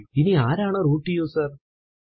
ഇനി ആരാണ് root user